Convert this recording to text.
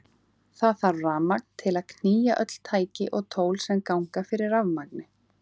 Það þarf rafmagn til að knýja öll tæki og tól sem ganga fyrir rafmagni.